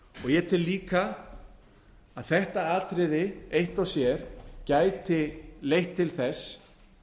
ég tel líka að þetta atriði eitt og sér gæti leitt til þess